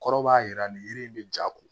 Kɔrɔ b'a jira nin yiri in bɛ ja ko